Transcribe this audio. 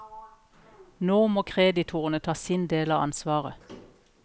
Nå må kreditorene ta sin del av ansvaret.